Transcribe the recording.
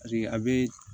a bɛ